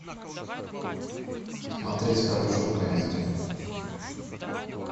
смотреть хорошую комедию